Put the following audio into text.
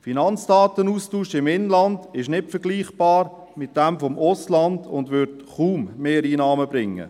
Der Finanzdatenaustausch im Inland ist nicht vergleichbar mit jenem mit dem Ausland und würde kaum Mehreinnahmen bringen.